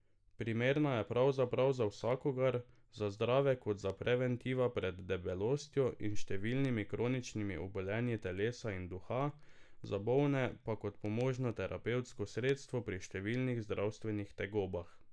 Primerna je pravzaprav za vsakogar, za zdrave kot preventiva pred debelostjo in številnimi kroničnimi obolenji telesa in duha, za bolne pa kot pomožno terapevtsko sredstvo pri številnih zdravstvenih tegobah.